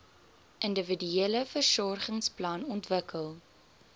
individuele versorgingsplan ontwikkel